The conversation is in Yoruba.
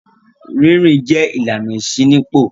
Rí rìn jẹ́ ìlànà ìṣínípò.